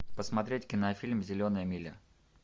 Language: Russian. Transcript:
посмотреть кинофильм зеленая миля